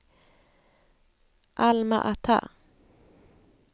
Alma-Ata